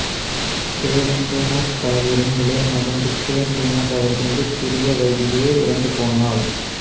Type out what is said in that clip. தேவேந்திரநாத் தாகூரின் இளைய மகன் புத்தேந்திரநாத் அவரது மிகச் சிறிய வயதிலேயே இறந்து போனார்